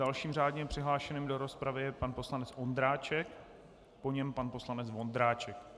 Dalším řádně přihlášeným do rozpravy je pan poslanec Ondráček, po něm pan poslanec Vondráček.